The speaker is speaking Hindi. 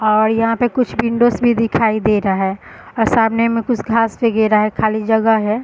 और यहाँ पे कुछ विंडोज भी दिखाई दे रहा है और सामने में कुछ घास वगैरा है खली जगह है।